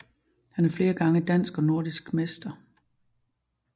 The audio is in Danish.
Han er flere gange dansk og nordisk mester